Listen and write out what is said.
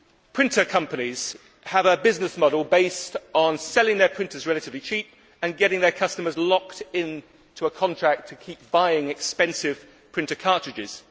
Printer companies have a business model based on selling their printers relatively cheaply and getting their customers locked into a contract to keep buying expensive printer cartridges.